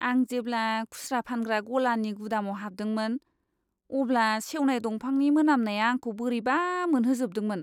आं जेब्ला खुस्रा फानग्रा गलानि गुदामाव हाबदोंमोन, अब्ला सेवनाय दंफांनि मोनामनाया आंखौ बोरैबा मोनहोजोबदोंमोन!